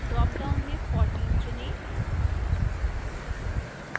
drop down में 14 चुनें